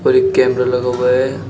और एक कैमरा लगा हुआ है।